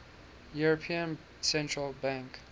european central bank